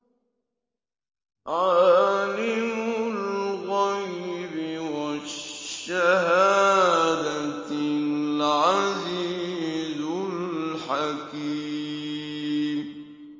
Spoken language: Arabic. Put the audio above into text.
عَالِمُ الْغَيْبِ وَالشَّهَادَةِ الْعَزِيزُ الْحَكِيمُ